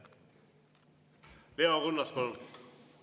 Leo Kunnas, palun!